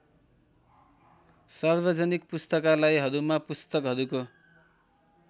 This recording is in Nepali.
सार्वजनिक पुस्तकालयहरूमा पुस्तकहरुको